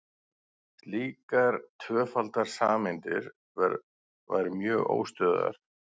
slíkar tvöfaldar sameindir væru mjög óstöðugar